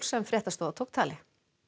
sem fréttastofa tók tali